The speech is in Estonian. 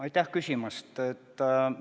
Aitäh küsimast!